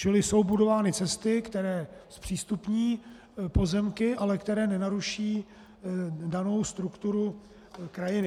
Čili jsou budovány cesty, které zpřístupní pozemky, ale které nenaruší danou strukturu krajiny.